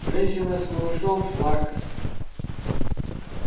женщина с малышом шла к с